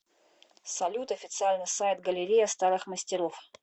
салют официальный сайт галерея старых мастеров